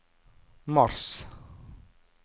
mars